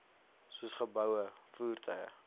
soos geboue voertuie